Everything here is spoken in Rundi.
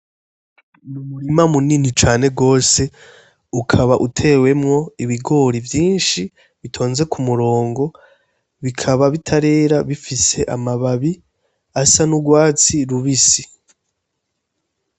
Umurima munini cane gose ukaba utewemwo ibigori vyinshi bitonze ku murongo, bikaba bitarera bifise amababi asa n'urwatsi rubisi.